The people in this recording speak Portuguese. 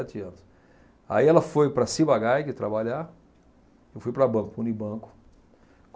anos. Aí ela foi para a Ciba-Geigy trabalhar, eu fui para banco, Unibanco.